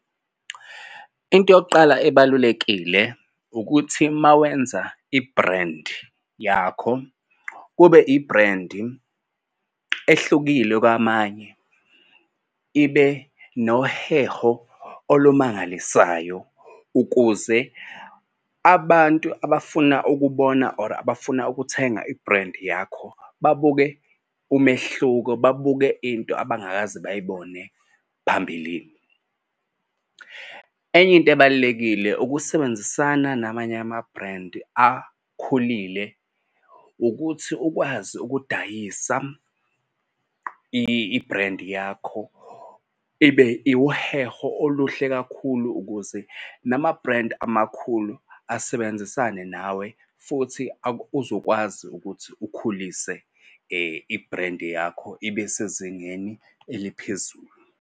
Into yokuqala ebalulekile ukuthi uma wenza ibhrendi yakho kube ibhrendi ehlukile kwamanye ibe noheho olumangalisayo ukuze abantu abafuna ukubona or abafuna ukuthenga ibhrendi yakho babuke umehluko, babuke into abangakaze bayibone phambilini. Enye into ebalulekile ukusebenzisana namanye amabhrendi akhulile ukuthi ukwazi ukudayisa ibhrendi yakho ibe wuheho oluhle kakhulu ukuze namabhrendi amakhulu asebenzisane nawe. Futhi uzokwazi ukuthi ukhulise ibhrendi yakho ibe sezingeni eliphezulu.